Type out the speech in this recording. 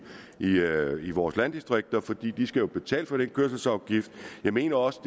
i i vores landdistrikter for de skal jo betale den kørselsafgift jeg mener også